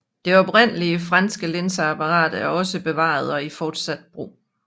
Det oprindelige franske linseapparat er også bevaret og i fortsat brug